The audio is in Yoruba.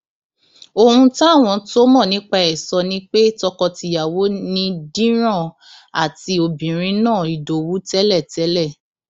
ohun táwọn tó mọ nípa ẹ sọ ni pé tọkọtìyàwó ni díran àti obìnrin náà ìdowu tẹlẹtẹlẹ